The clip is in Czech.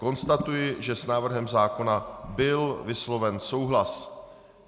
Konstatuji, že s návrhem zákona byl vysloven souhlas.